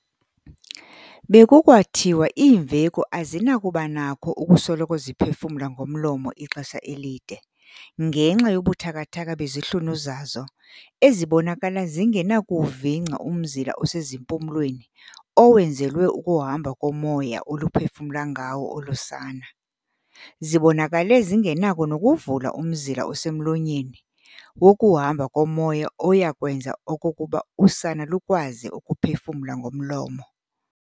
Bekukwathiwa iimveku azinakubanakho ukusoloko ziphefumla ngomlomo ixesha elide, ngenxa yobuthakathaka bezihlunu zazo ezibonakala zingenakuwuvingca umzila osezimpumlweni owenzelwe ukuhamba komoya oluphefumla ngawo olu sana, zibonakale zingenakho nokuvula umzila osemlonyeni wokuhamba komoya oyakwenza okokuba usana lukwazi ukuphefumla ngomlomo.